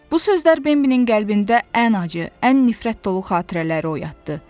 Bu sözlər Bimbinin qəlbində ən acı, ən nifrət dolu xatirələri oyatdı.